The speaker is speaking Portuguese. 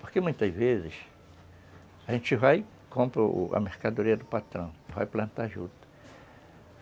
Porque muitas vezes a gente vai e compra a mercadoria do patrão, vai plantar a juta.